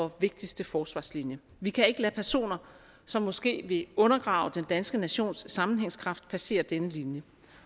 og vigtigste forsvarslinje vi kan ikke lade personer som måske vil undergrave den danske nations sammenhængskraft passere denne linje